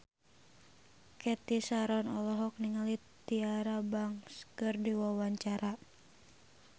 Cathy Sharon olohok ningali Tyra Banks keur diwawancara